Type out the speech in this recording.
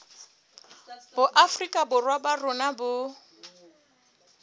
boafrika borwa ba rona bo